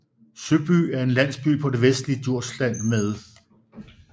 Søby er en landsby på det vestligste Djursland med